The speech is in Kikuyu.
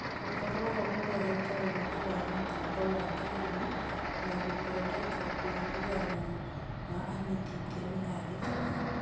Gũkorwo-ho kũrehete ũgĩ wa mĩtambo ya kĩĩrĩu na gũthondeka ũiguano wa anyiti iteme a gĩthomo.